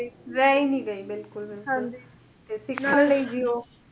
ਰਹਿ ਹੀ ਨਹੀਂ ਗਈ ਬਿਲਕੁਲ ਤੇ ਸਿੱਖਣ ਲਈ ਜੀਓ